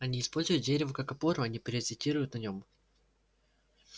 они используют дерево как опору а не паразитируют на нём